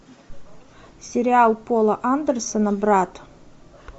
сериал пола андерсона брат